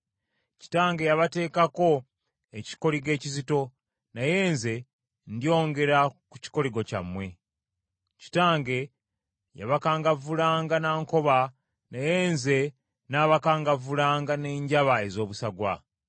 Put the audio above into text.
Kitange yabateekako ekikoligo ekizito, naye nze ndyongera ku kikoligo kyammwe. Kitange yabakangavvulanga na nkoba, naye nze nnaabakangavvulanga n’enjaba ez’obusagwa.” ’”